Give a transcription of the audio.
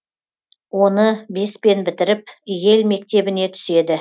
оны беспен бітіріп йел мектебіне түседі